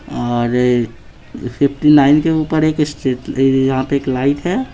और fifty nine के ऊपर एक स्ट्रीट पे एक लाइट है।